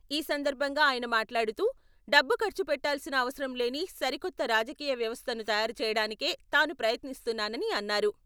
ఈ సందర్భంగా ఆయన మాట్లాడుతూ డబ్బు ఖర్చుపెట్టాల్సిన అవసరం లేని సరికొత్త రాజకీయ వ్యవస్థను తయారు చేయడానికే తాను ప్రయత్నిస్తున్నానని అన్నారు.